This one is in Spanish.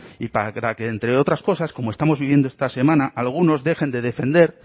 y para que entre otras cosas como estamos viviendo esta semana algunos dejen de defender